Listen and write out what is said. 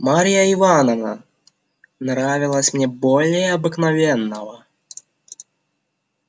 марья ивановна нравилась мне более обыкновенного